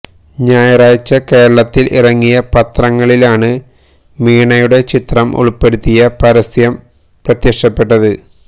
ഞായറാഴ്ച കേരളത്തില് ഇറങ്ങിയ പത്രങ്ങളിലാണ് മീണയുടെ ചിത്രം ഉള്പ്പെടുത്തിയ പരസ്യം പ്രത്യക്ഷപ്പെട്ടത്